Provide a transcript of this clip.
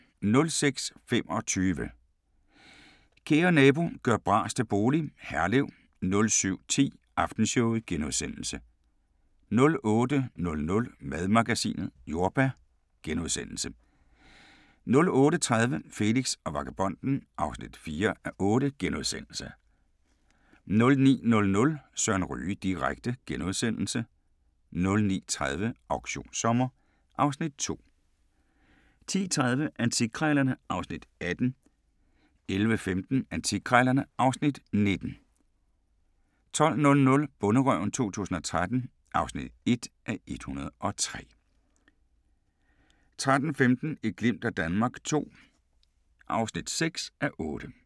06:25: Kære nabo – gør bras til bolig – Herlev 07:10: Aftenshowet * 08:00: Madmagasinet: Jordbær * 08:30: Felix og vagabonden (4:8)* 09:00: Søren Ryge direkte * 09:30: Auktionssommer (Afs. 2) 10:30: Antikkrejlerne (Afs. 18) 11:15: Antikkrejlerne (Afs. 19) 12:00: Bonderøven 2013 (1:103) 13:15: Et glimt af Danmark II (6:8)